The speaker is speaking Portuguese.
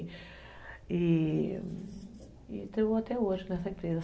E estou até hoje nessa empresa.